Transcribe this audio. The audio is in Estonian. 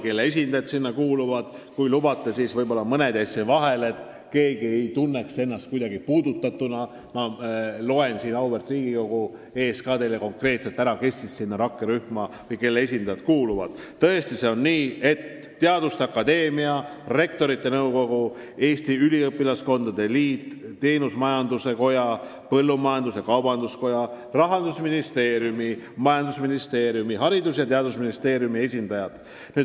Mõned asutused-ühendused jäid aga nimetamata ja selleks, et keegi ei tunneks ennast puudutatuna, ma loen auväärt Riigikogu ees täpsemalt üles, kelle esindajad rakkerühma kuuluvad: need on teaduste akadeemia, rektorite nõukogu, Eesti Üliõpilaskondade Liit, Teenusmajanduse Koda, Eesti Põllumajandus-Kaubanduskoda, Rahandusministeerium, majandusministeerium, Haridus- ja Teadusministeerium.